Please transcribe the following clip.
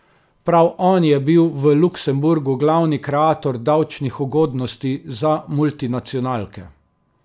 Prav on je bil v Luksemburgu glavni kreator davčnih ugodnosti za multinacionalke.